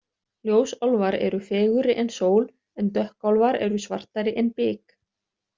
Ljósálfar eru fegurri en sól en dökkálfar eru svartari en bik.